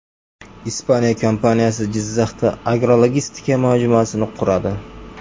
Ispaniya kompaniyasi Jizzaxda agrologistika majmuasini quradi.